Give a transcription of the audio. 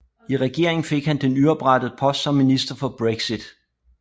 I regeringen fik han den nyoprettede post som minister for Brexit